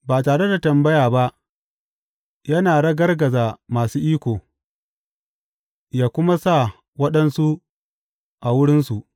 Ba tare da tambaya ba yana ragargaza masu iko, yă kuma sa waɗansu a wurinsu.